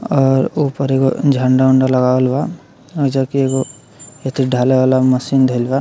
और ऊपर एगो झंडा-उंडा लगावल बा जबकि एगो ढलाई वाला मशीन धइल बा।